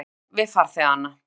sagði hann við farþegana.